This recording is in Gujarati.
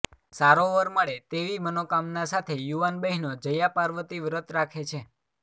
સારો વર મળે તેવી મનોકામનાં સાથે યુવાન બહેનો જયાપાર્વતી વ્રત રાખે છે